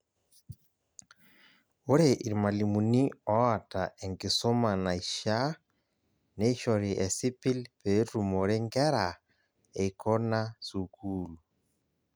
Ore irmalimuni oota enkisuma naishaa, neishori esipil peetumore nkeraa eikona sukuul.